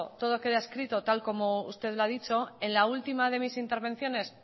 todo queda escrito tal y como usted ha dicho en la última de mis intervenciones